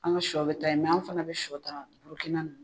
An ka sɔ bɛ ta yen mɛ an fana bɛ sɔ ta Burukina ninnu